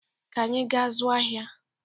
Ka anyị gaa zụọ ahịa